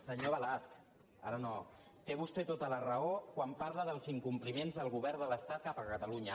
senyor balasch té vostè tota la raó quan parla dels incompliments del govern de l’estat cap a catalunya